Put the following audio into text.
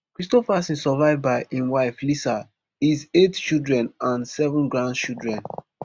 kristofferson survive by im wife lisa his eight children and seven grandchildren